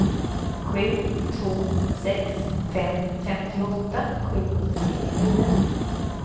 sju två sex fem femtioåtta sjuhundranittionio